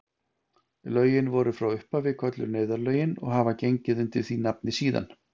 Lögin voru frá upphafi kölluð neyðarlögin og hafa gengið undir því nafni síðan.